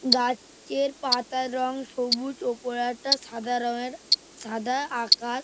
গাছ এর পাতার রং সবুজ ওপর একটা সাদা রং এর সাদা আকাশ।